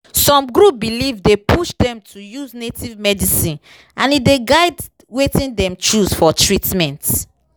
some group belief dey push dem to use native medicine and e dey guide wetin dem choose for treatment.